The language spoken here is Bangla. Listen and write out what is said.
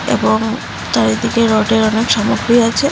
এবং চারিদিকে রোডের অনেক সামগ্রী আছে।